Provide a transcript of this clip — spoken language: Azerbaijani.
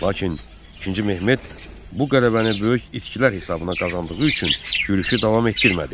Lakin İkinci Mehmet bu qələbəni böyük itkilər hesabına qazandığı üçün yürüşü davam etdirmədi.